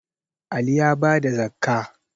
Ali ya bada zakkah